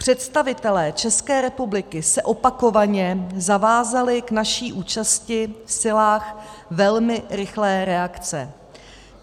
Představitelé České republiky se opakovaně zavázali k naší účasti v silách velmi rychlé reakce.